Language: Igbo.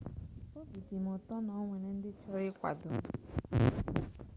obị dị m ụtọ na o nwere ndị chọrọ ịkwado m